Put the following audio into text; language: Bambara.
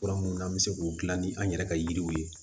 Fura minnu an bɛ se k'u dilan ni an yɛrɛ ka yiriw ye